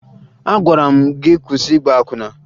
Agwara m gị kwụsị ịgba akwụna!